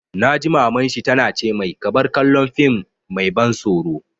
Na ji Maman shi ta na ce mai 'Ka bar kallon fim mai ban tsoro'!